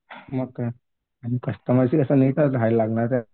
मग काय आणि कस्टमरची माहित आहे.